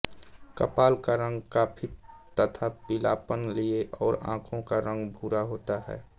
कपाल का रंग खाकी तथा पीलापन लिए और आँखों का रंग भूरा होता है